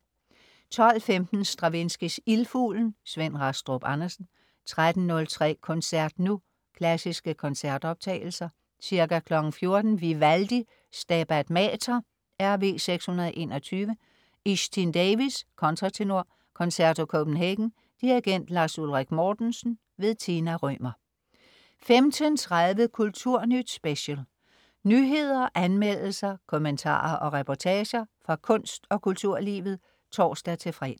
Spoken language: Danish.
12.15 Stravinskys Ildfuglen. Svend Rastrup Andersen 13.03 Koncert nu. Klassiske koncertoptagelser. Ca. 14.00 Vivaldi: Stabat Mater, RV 621. Iestyn Davies, kontratenor. Concerto Copenhagen. Dirigent: Lars Ulrik Mortensen. Tina Rømer 15.30 Kulturnyt Special. Nyheder, anmeldelser, kommentarer og reportager, fra kunst, og kulturlivet (tors-fre)